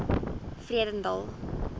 vredendal